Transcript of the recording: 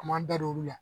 A m'an bɛɛ don olu la